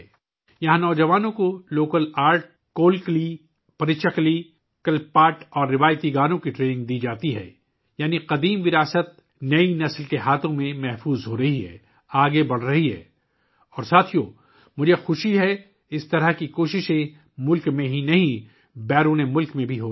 یہاں نوجوانوں کو مقامی فن کولکلی، پریچاکلی، کلی پاٹہ اور روایتی گانوں کی تربیت دی جاتی ہے یعنی پرانا ورثہ نئی نسل کے ہاتھوں میں محفوظ ہو رہا ہے، آگے بڑھ رہا ہے اور دوستو، مجھے خوشی ہے کہ ایسی کوششیں نہ صرف ملک میں بلکہ بیرون ملک بھی ہو رہی ہیں